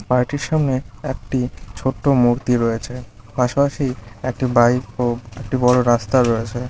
পার্টির সামনে একটি ছোট্ট মূর্তি রয়েছে পাশাপাশি একটি বাইকও-- একটি বড় রাস্তা রয়েছে।